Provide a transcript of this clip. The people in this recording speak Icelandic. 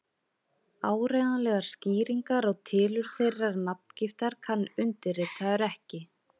Áreiðanlegar skýringar á tilurð þeirrar nafngiftar kann undirritaður ekki.